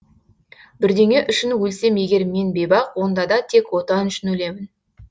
бірдеңе үшін өлсем егер мен бейбақ онда да тек отан үшін өлемін